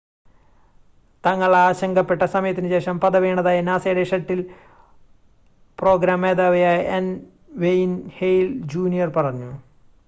" തങ്ങൾ ആശങ്കപ്പെട്ട സമയത്തിനുശേഷം" പത വീണതായി നാസയുടെ ഷട്ടിൽ പ്രോഗ്രാം മേധാവിയായ എൻ. വെയിൻ ഹേൽ ജൂനിയർ പറഞ്ഞു.